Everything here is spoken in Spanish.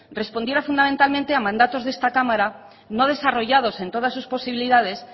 respondiera fundamentalmente a mandatos de esta cámara no desarrollados en todas sus posibilidades